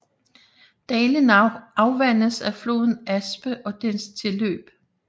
Dalen afvandes af floden Aspe og dens tilløb